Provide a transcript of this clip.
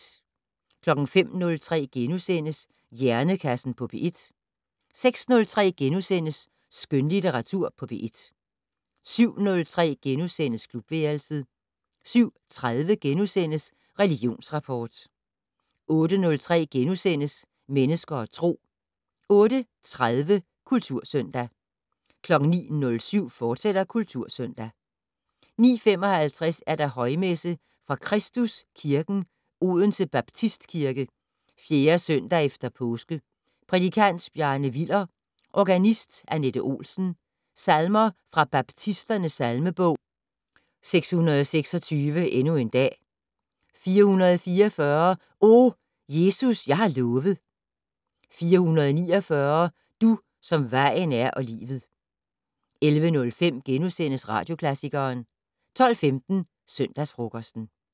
05:03: Hjernekassen på P1 * 06:03: Skønlitteratur på P1 * 07:03: Klubværelset * 07:30: Religionsrapport * 08:03: Mennesker og Tro * 08:30: Kultursøndag 09:07: Kultursøndag, fortsat 09:55: Højmesse - Fra Kristus Kirken, Odense Baptistkirke. 4. søndag efter påske. Prædikant: Bjarne Willer. Organist: Annette Olsen. Salmer fra Baptisternes salmebog: 626 "Endnu en dag". 444 "O, Jesus jeg har lovet". 449 "Du, som vejen er og livet". 11:05: Radioklassikeren * 12:15: Søndagsfrokosten